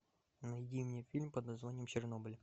найди мне фильм под названием чернобыль